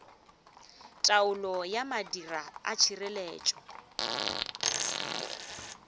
taolo ya madira a tšhireletšo